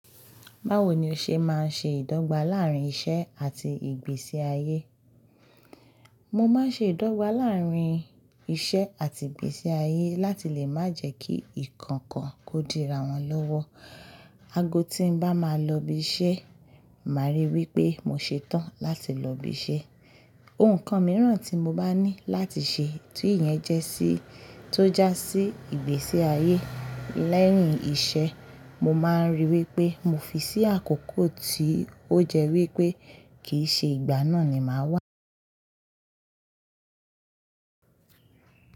Báwo ni o ṣe máa ń ṣe ìdọ́gba láàárín iṣẹ́ àti ìgbésí ayé? Mo máa ń ṣe ìdọ́gba láàárín iṣẹ́ àti ìgbésí ayé láti lè má jẹ́ kí ikọ̀kan kò di ra wọn lọ́wọ́. Ago tí nbá máa lọ ibi iṣẹ́, màá ríi wí pé mo ṣetán láti lọ ibi iṣẹ́. Ohun kan mìíràn tí mo bá ní láti ṣe tí ìyẹn jẹ́ sí tó já sí ìgbésí ayé lẹ́yìn iṣẹ́, mo máa ń ríi wí pé mo fi sí àkókò tí ó jẹ́ wí pé kìí ṣe ìgbà náà ni màá wà.